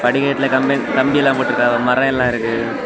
படிக்கட்டில கம்பி கம்பியெல்லாம் போட்டுருக்காங்க மரமெல்லா இருக்கு.